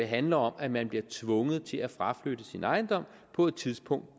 handler om at man bliver tvunget til at fraflytte sin ejendom på et tidspunkt